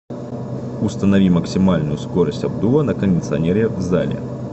установи максимальную скорость обдува на кондиционере в зале